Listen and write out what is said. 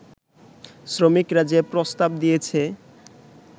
শ্রমিকরা যে প্রস্তাব দিয়েছে